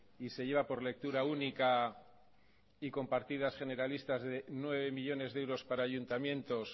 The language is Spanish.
y se lleva por lectura única y con partidas generalistas de nueve millónes de euros para ayuntamientos